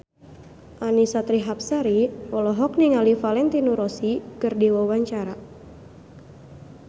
Annisa Trihapsari olohok ningali Valentino Rossi keur diwawancara